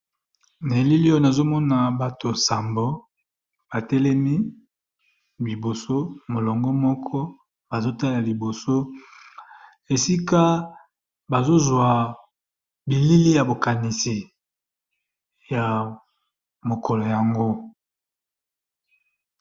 Na elili oyo nazo mona bato sambo ba telemi liboso molongo moko, bazo tala liboso esika bazo zwa bilili ya bo kanisi ya mokolo yango .